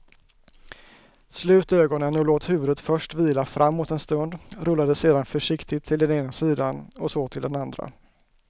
Slut ögonen och låt huvudet först vila framåt en stund, rulla det sedan försiktigt till den ena sidan och så till den andra.